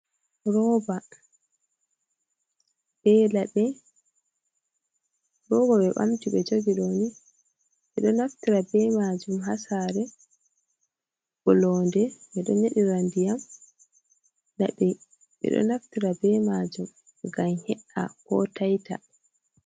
Rooba be laɓi, rooba ɓe ɓamti ɓe jogi ɗooni, ɓeɗo naftira be maajum haa saɗre, ɓiloonde ɓe don ƴeɗira ndiyam, nden boo ɓe ɗo naftira be maajum ngam he’a koo tayta.